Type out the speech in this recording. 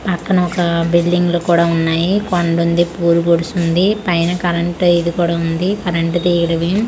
అక్కనొకా building లు కూడా వున్నాయి కొండుంది పూరు గుడుసుంది పైన కరెంట్ ఇది కూడ వుంది కరెంట్ .]